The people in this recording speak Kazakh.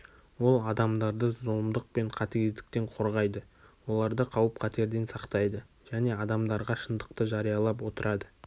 ол адамдарды зұлымдық пен қатыгездіктен қорғайды оларды қауіп-қатерден сақтайды және адамдарға шындықты жариялап отырады